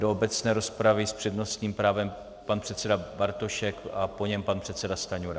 Do obecné rozpravy s přednostním právem pan předseda Bartošek a po něm pan předseda Stanjura.